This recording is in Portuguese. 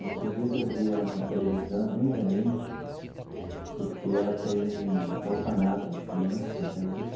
Esses dias eu vi ela na televisão, bem velhinha, porque ela tem um orfanato de crianças até hoje.